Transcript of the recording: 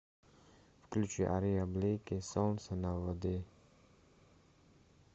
включи ария блики солнца на воде